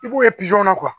I b'o kɛ kɔnɔ